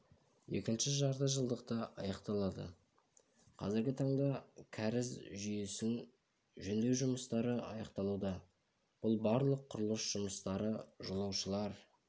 екінші жарты жылдықта аяқталады қазіргі таңда кәріз жүйесін жөндеу жұмыстары аяқталуда барлық құрылыс жұмыстары жолаушылар